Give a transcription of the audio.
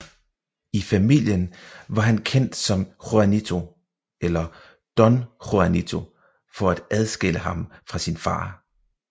I familien var han kendt som Juanito eller Don Juanito for at adskille ham fra sin far